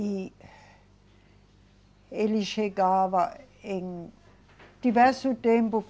E ele chegava em diversos tempos.